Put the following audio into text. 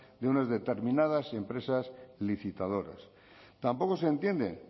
de unas determinadas empresas licitadoras tampoco se entienden